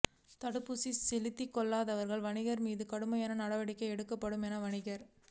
தடுப்பூசி செலுத்தி கொள்ளாத வணிகர்கள் மீது கடுமையான நடவடிக்கை எடுக்கப்படும் என வணிகர்